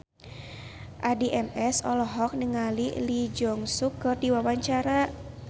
Addie MS olohok ningali Lee Jeong Suk keur diwawancara